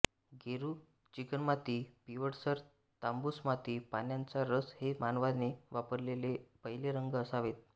गेरू चिकणमाती पिवळसर तांबूस माती पानांचा रस हे मानवाने वापरलेले पहिले रंग असावेत